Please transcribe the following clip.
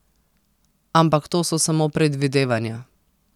Ampak to so samo predvidevanja.